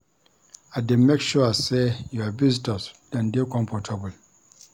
I dey make sure sey your visitors dem dey comfortable.